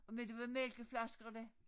Men det var mælkeflaskerne